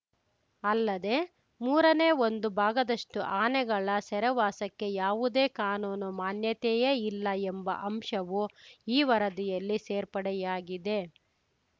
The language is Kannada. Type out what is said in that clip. ಅಲ್ಲದೆ ಮೂರನೇ ಒಂದು ಭಾಗದಷ್ಟುಆನೆಗಳ ಸೆರೆವಾಸಕ್ಕೆ ಯಾವುದೇ ಕಾನೂನು ಮಾನ್ಯತೆಯೇ ಇಲ್ಲ ಎಂಬ ಅಂಶವೂ ಈ ವರದಿಯಲ್ಲಿ ಸೇರ್ಪಡೆಯಾಗಿದೆ